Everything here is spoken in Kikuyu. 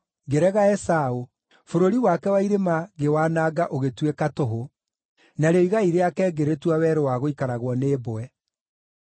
ngĩrega Esaũ, bũrũri wake wa irĩma ngĩwananga ũgĩtuĩka tũhũ, narĩo igai rĩake ngĩrĩtua werũ wa gũikaragwo nĩ mbwe.”